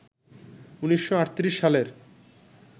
১৯৩৮ সালের